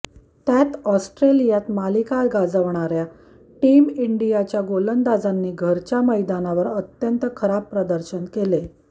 त्यात ऑस्ट्रेलियात मालिका गाजवणाऱ्या टीम इंडियाच्या गोलंदाजांनी घरच्या मैदानावर अत्यंत खराब प्रदर्शन केले